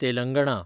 Telangana